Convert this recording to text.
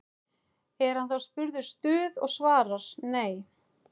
Er hann þá spurður Stuð? og svarar: Nei.